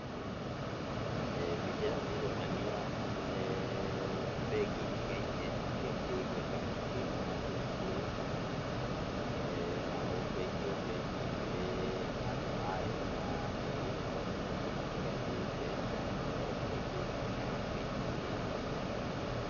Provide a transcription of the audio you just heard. Mbica ĩno nĩronania, bengi itigaine irĩ cirĩ igweta mũno thĩiniĩ wa bũrũri ũyũ. Na o bengi o bengi nĩĩrĩ aũndũ ayo na nĩĩrĩ motungata matiganĩte, na makoragwo marĩ ngũrani na bengi iria ingĩ.